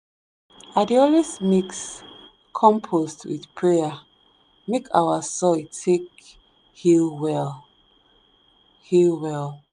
i dey always mix compost with prayer make our soil take heal well. heal well.